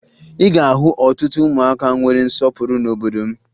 Ị ga-ahụ ọtụtụ ụmụaka nwere nsọpụrụ n'obodo m